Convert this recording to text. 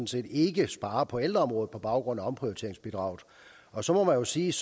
set ikke sparer på ældreområdet på baggrund af omprioriteringsbidraget og så må man sige